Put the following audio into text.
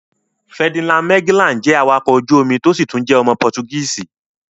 Ferdinand Magellan jẹ́ awakọ̀ ojú omi tó sì tún jẹ́ ọmọ pọtugíìsi.̀